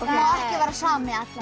vera sami allan